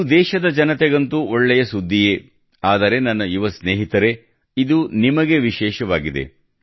ಇದು ದೇಶದ ಜನತೆಗಂತೂ ಒಳ್ಳೆಯ ಸುದ್ದಿಯೇ ಆದರೆ ನನ್ನ ಯುವ ಸ್ನೇಹಿತರೇ ಇದು ನಿಮಗೆ ವಿಶೇಷವಾಗಿದೆ